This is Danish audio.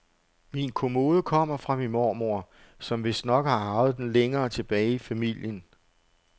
Min kommode kommer fra min mormor, som vistnok har arvet den længere tilbage i familien.